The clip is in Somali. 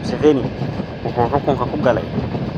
Museveni wuxuu xukunka ku galay